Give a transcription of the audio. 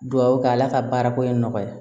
Duwawu kɛ ala ka baara ko in nɔgɔya